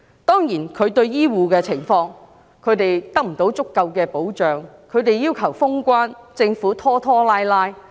當然，她亦沒有為醫護人員提供足夠的保障，他們要求封關，政府卻拖拖拉拉。